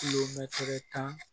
Kilomɛ tan